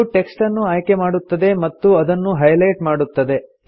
ಇದು ಟೆಕ್ಸ್ಟ್ ಅನ್ನು ಆಯ್ಕೆ ಮಾಡುತ್ತದೆ ಮತ್ತು ಅದನ್ನು ಹೈಲೆಟ್ ಮಾಡುತ್ತದೆ